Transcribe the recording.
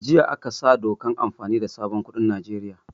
Jiya aka sa dokan amfani da sabon kuɗin Nijeriya